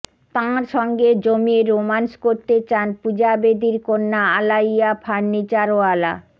তাঁর সঙ্গে জমিয়ে রোম্যান্স করতে চান পূজা বেদীর কন্যা আলাইয়া ফার্নিচারওয়ালা